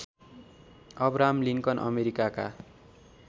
Abraham Lincoln अमेरिकाका